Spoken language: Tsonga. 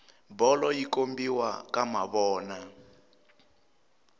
bolo yi kombiwa ka mavona